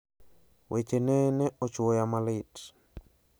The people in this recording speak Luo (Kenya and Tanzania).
Wechene ne ochwoya malit.